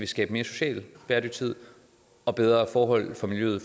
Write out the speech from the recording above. skabe mere social bæredygtighed og bedre forhold for miljøet